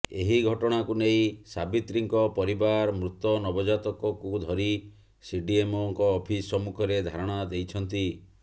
ଏହି ଘଟଣାକୁ ନେଇ ସାବିତ୍ରୀଙ୍କ ପରିବାର ମୃତ ନବଜାତକକୁ ଧରି ସିଡିଏମଓଙ୍କ ଅଫିସ ସମ୍ମୁଖରେ ଧାରଣା ଦେଇଛନ୍ତି